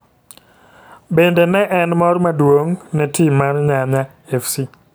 Bende ne en mor mduong' ne tim mar nyanya fc.